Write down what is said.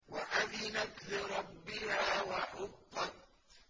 وَأَذِنَتْ لِرَبِّهَا وَحُقَّتْ